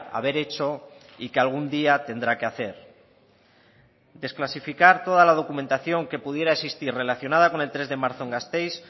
haber hecho y que algún día tendrá que hacer desclasificar toda la documentación que pudiera existir relacionada con el tres de marzo en gasteiz